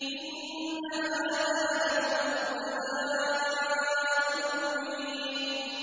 إِنَّ هَٰذَا لَهُوَ الْبَلَاءُ الْمُبِينُ